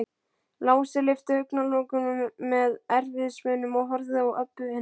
Lási lyfti augnalokunum með erfiðismunum og horfði á Öbbu hina.